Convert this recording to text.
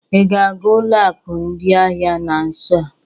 Ị ga-aga ụlọ akụ ndị ahịa na nso a?